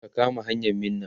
ka kama hanyan Minna!